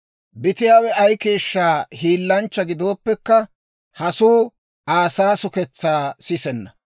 Bitiyaawe ay keeshsha hiilanchcha gidooppekka, hasuu Aa saasuketsaa sisenna.